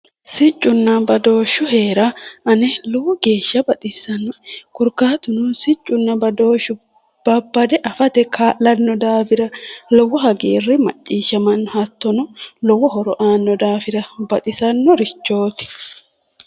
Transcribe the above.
Siccunna badooshshu heera ane lowo geeshsha baxissannoe korkaatuno siccunna badooshshu babbade afate kaa'lanno daafira lowo hagiirre macciishshamanno hattono lowo horo aanno daafira baxisannorichooti.